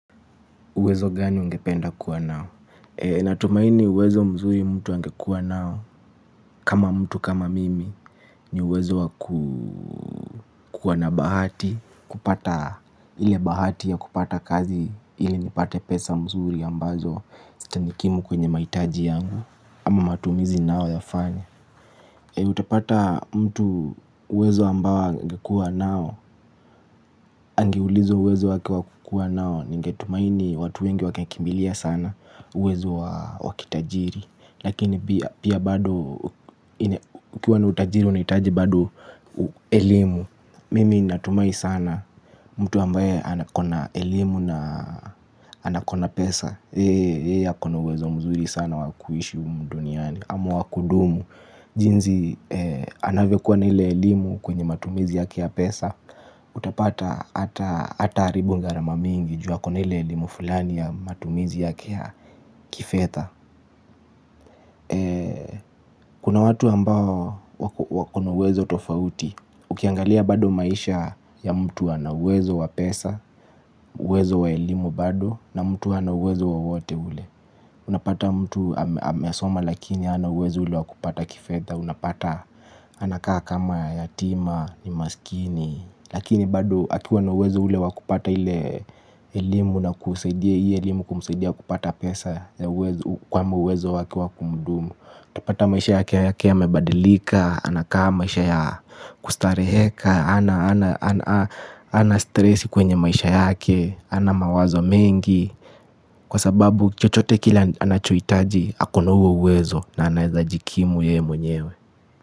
Uwezo gani ungependa kuwa nao? Natumaini uwezo mzuri mtu angekuwa nao. Kama mtu kama mimi ni uwezo wakuwa na bahati. Kupata ile bahati ya kupata kazi. Ili nipate pesa mzuri ambazo zitanikimu kwenye maitaji yangu. Ama matumizi ninayo yafanya. Utapata mtu uwezo ambao angekua nao. Angeulizwa uwezo wake wakukua nao. Ningetumaini watu wengi wangekimbilia sana uwezo wakitajiri lakini pia pia bado ukiwa na utajiri unahitaji bado elimu mimi natumai sana mtu ambaye anakona elimu na anakona pesa yeye yeye akona uwezo mzuri sana wakuishi humuduniani ama wakudumu jinzi anavyokuwa na ile elimu kwenye matumizi yake ya pesa utapata ata haribu ngarama mingi ju akona ile elimu fulani ya matumizi ya kifetha kuna watu ambao wakona uwezo tofauti ukiangalia bado maisha ya mtu anauwezo wapesa uwezo wa elimu bado na mtu anauwezo wowote ule unapata mtu amesoma lakini hanauwezo ule wakupata kifetha unapata anakaa kama yatima ni masikini lakini bado akiwa na uwezo ule wakupata ile elimu na kuhusaidia hii elimu kumusaidia kupata pesa ya uwezo kwamba uwezo wake wa kumudumu. Tapata maisha yake yake yamebadilika, anakaa maisha ya kustareheka, hana stresi kwenye maisha yake, hana mawazo mengi. Kwa sababu chochote kile anachohitaji, akona huo uwezo na anaweza jikimu yeye mwenyewe.